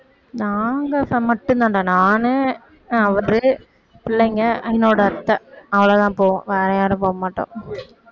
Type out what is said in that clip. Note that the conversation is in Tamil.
நாங்க மட்டுந்தாண்டா நானு அவரு பிள்ளைங்க என்னோட அத்தை அவ்வளவுதான் போவோம் வேற யாரு போகமாட்டோம்